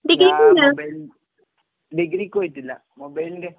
ഞാൻ മൊബൈൽ, ഡിഗ്രിക്ക് പോയിട്ടില്ല. മൊബൈൽന്റെ